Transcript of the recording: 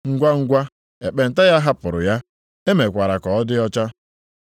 Ngwangwa ekpenta ya hapụrụ ya, e mekwara ka ọ dị ọcha.